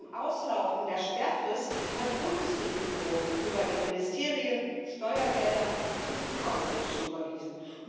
Vor dem Auslaufen der Sperrfrist hat die Bundesregierung über ihre Ministerien Steuergelder an die Clinton Foundation überwiesen.